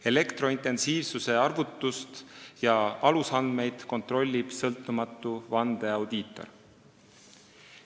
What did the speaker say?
Elektrointensiivsuse arvutust ja alusandmeid kontrollib sõltumatu vandeaudiitor.